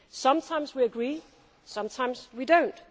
Sometimes we agree, sometimes we do not.